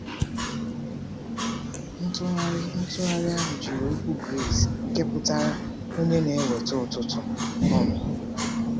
Ntụgharị Ntụgharị ahụ jiri okwu Gris nke pụtara “onye na-eweta ụtụtụ.” um